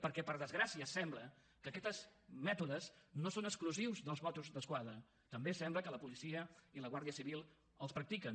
perquè per desgràcia sembla que aquests mètodes no són exclusius dels mossos d’esquadra també sembla que la policia i la guàrdia civil els practiquen